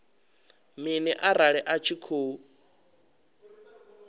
mini arali a tshi khou